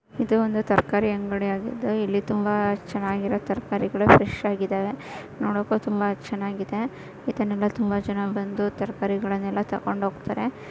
ಇದು ಒಂದು ತರಕಾರಿ ಅಂಗಡಿಯಾಗಿದ್ದು. ಇಲ್ಲಿ ತುಂಬಾ ಚನ್ನಾಗಿರೊ ತರಕಾರಿಗಳು ಫ್ರೆಶ್ ಆಗಿದಾವೆ. ನೋಡಕ್ಕೂ ತುಂಬಾ ಚೆನ್ನಾಗಿದೆ. ಇದನೆಲ್ಲ ತುಂಬಾ ಜನಾ ಬಂದು ತರ್ಕಾರಿಗಳನೆಲ್ಲ ತೊಗೊಂಡ್ ಹೋಗ್ತಾರೆ.